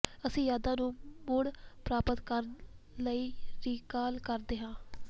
ਅਸੀਂ ਯਾਦਾਂ ਨੂੰ ਮੁੜ ਪ੍ਰਾਪਤ ਕਰਨ ਲਈ ਰੀਕਾਲ ਕਰਦੇ ਹਾਂ